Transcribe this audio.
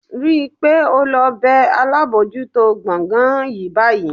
Rí i pé o lọ bẹ́ alábòójútó gbọ̀ngàn yín báyìí